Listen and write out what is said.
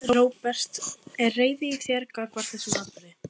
Róbert: Er reiði í þér gagnvart þessum atburði?